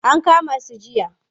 An kama su jiya.